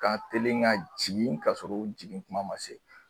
Ka telin ka jigin ka sɔrɔ u jigin kuma ma se.